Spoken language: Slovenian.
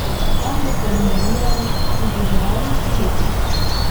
Tam boste modelirali, izrezovali, lepili.